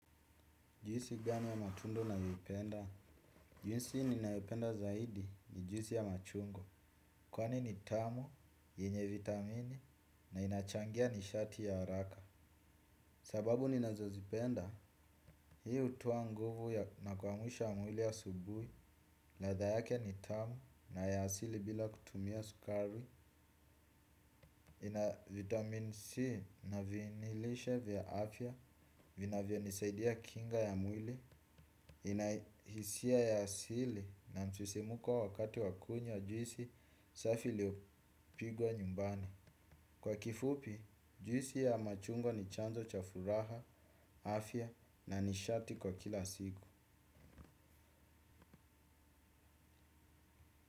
Juisi gani ya matunda unayopenda? Juisi ninayo penda zaidi ni juisi ya machungwa. Kwani ni tamu, yenye vitamini na inachangia nishati ya haraka. Sababu ni nazozipenda, hii utoa nguvu na kuamusha mwili ya subuhi. Latha yake ni tamu na ya asili bila kutumia sukari. Ina vitamini C na vinilishe vya afya vinavyo nisaidia kinga ya mwili. Inahisia ya asili na msisimuko wakati wakunywa juisi safi iliopigwa nyumbani. Kwa kifupi, juisi ya machungwa ni chanzo cha furaha, afya na nishati kwa kila siku.